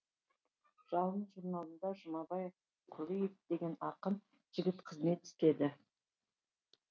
жалын журналында жұмабай құлиев деген ақын жігіт қызмет істеді